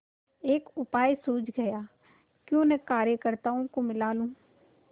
एक उपाय सूझ गयाक्यों न कार्यकर्त्ताओं को मिला लूँ